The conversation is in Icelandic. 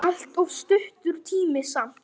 Allt of stuttur tími samt.